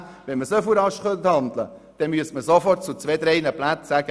Wenn man so rasch handeln könnte, müsste man sofort Ja sagen zu zwei bis drei Plätzen.